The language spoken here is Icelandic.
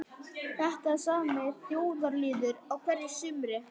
Þetta er sami óþjóðalýðurinn á hverju sumri